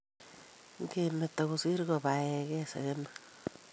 ingemeto kosiir kobaegei segemik.